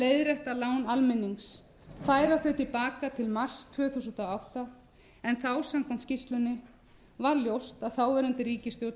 leiðrétta lán almennings færa þau til baka til ársins tvö þúsund og átta en þá samkvæmt skýrslunni var ljóst að þáverandi ríkisstjórn